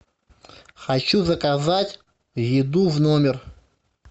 хочу заказать еду в номер